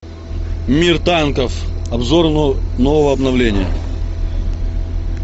мир танков обзор нового обновления